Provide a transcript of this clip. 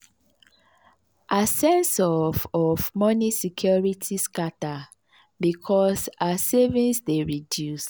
her sense of of moni security scata because her savings dey reduce.